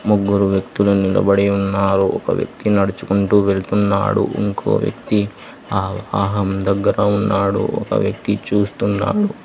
ముగ్గురు వ్యక్తులు నిలబడి ఉన్నారు ఒక వ్యక్తి నడుచుకుంటూ వెళ్తున్నాడు ఇంకో వ్యక్తి ఆహారం దగ్గర ఉన్నాడు ఒక వ్యక్తి చూస్తున్నారు.